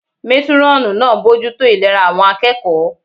Métúrọ̀nù náà ń bojútó ìlera àwọn akẹ́kọ̀ọ́